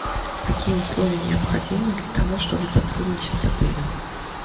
какие условия необходимы для того чтобы сотрудничать с отелем